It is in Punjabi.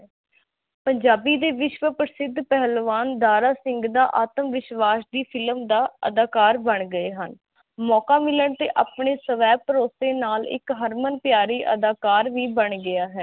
ਪੰਜਾਬੀ ਦੇ ਵਿਸ਼ਵ ਪ੍ਰਸਿਧ ਪਹਲਵਾਨ ਦਾ ਦਾਰਾ ਸਿੰਘ ਦਾ ਆਤਮਵਿਸ਼ਵਾਸ ਦੀ ਫਿਲਮ ਦਾ ਅਧਾਕਰ ਬਣ ਗਏ ਹਨ ਮੋੰਕਾ ਮਿਲਣ ਤੇ ਆਪਣੇ ਸਵੈ ਭਰੋਸੇ ਨਾਲ ਇਕ ਹਰਮਨ ਪਿਆਰੀ ਅਧਾਕਰ ਵੀ ਬਣ ਗਿਆ ਹੈ